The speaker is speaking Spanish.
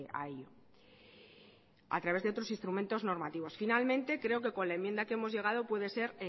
a ello a través de otros instrumentos normativos finalmente creo que con la enmienda que hemos llegado puede ser